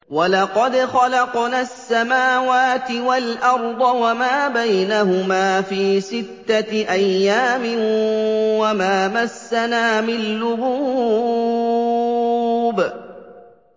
وَلَقَدْ خَلَقْنَا السَّمَاوَاتِ وَالْأَرْضَ وَمَا بَيْنَهُمَا فِي سِتَّةِ أَيَّامٍ وَمَا مَسَّنَا مِن لُّغُوبٍ